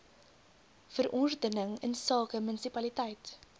verordening insake munisipaliteit